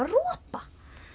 ropa